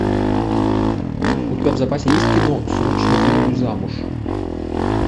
у тебя в запасе есть кино срочно выйду замуж